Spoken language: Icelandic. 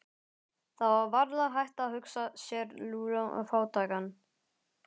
Það var varla hægt að hugsa sér Lúlla fátækan.